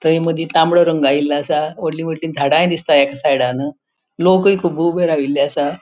थय मदि तामडो रंग असा वोडली वोडली झाड़ाय दिसता एक सायडान लोकुय खूब ऊबे राविल्ले आसा.